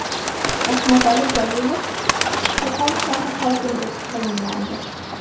Rahmatali Jalilov Qo‘qon shahri hokimi etib tayinlandi.